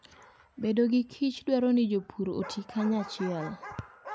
Bedo gi kich dwaro ni jopur oti kanyachiel.